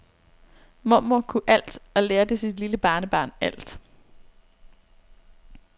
Mormor kunne alt og lærte sit lille barnebarn alt.